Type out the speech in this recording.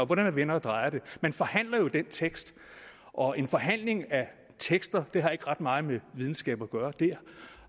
hvordan man vender og drejer det man forhandler jo den tekst og en forhandling af tekster har ikke ret meget med videnskab at gøre det